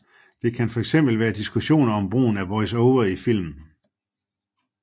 Det kan fx være diskussioner om brugen af voice over i film